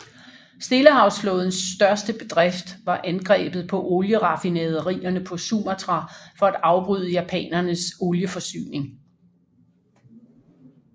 Stillehavsflådens største bedrift var angrebet på olieraffinaderierne på Sumatra for at afbryde japanernes olieforsyning